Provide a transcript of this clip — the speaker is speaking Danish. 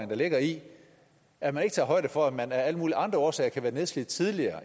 der ligger i at man ikke tager højde for at man af alle mulige andre årsager kan være nedslidt tidligere